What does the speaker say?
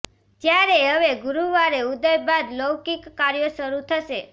જ્યારે હવે ગુરુવારે ઉદય બાદ લૌકિક કાર્યો શરૃ થશે